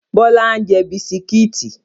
Bọlá ń jẹ́ bisikítì